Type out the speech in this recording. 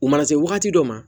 U mana se wagati dɔ ma